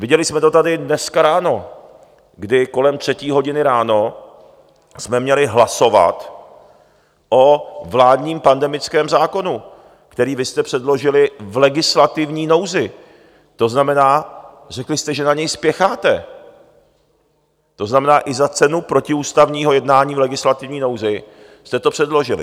Viděli jsme to tady dneska ráno, kdy kolem třetí hodiny ráno jsme měli hlasovat o vládním pandemickém zákonu, který vy jste předložili v legislativní nouzi, to znamená, řekli jste, že na něj spěcháte, to znamená i za cenu protiústavního jednání v legislativní nouzi jste to předložili.